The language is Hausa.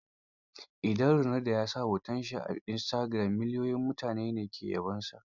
Idan Ronaldo ya sa hoto a istagiram, miliyoyin mutane ne ke yabonsa.